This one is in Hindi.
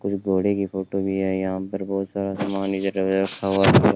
कुछ घोड़े की फोटो भी है यहां पर बहुत सारा सामान इधर उधर रखा हुआ है।